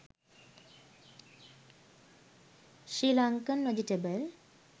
srilankan vegetable